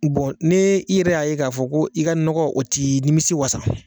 Bɔn ni i yɛrɛ y'a ye k'a fɔ ko i ka nɔgɔ o tɛ nimisi wasa